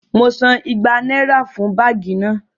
Mo san igba náírà fún báàgì náà